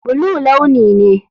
Blue launi ne.